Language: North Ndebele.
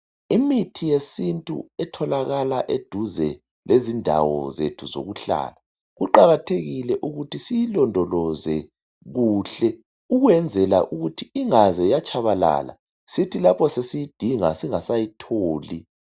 Imithi yesintu etholakala eduze lezindawo zethu zokuhlala kuqakathekile ukuthi siyilondoloze kuhle ukwenzela ukuthi inga ze yatshabalala sithi lapho sesiyidinga singasayitholi.